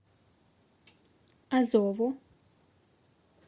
азову